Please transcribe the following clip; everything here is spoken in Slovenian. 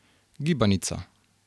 Gibanica.